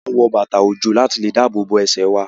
A máa n wọ bàtà ojo láti dáàbòbo ẹsẹ wà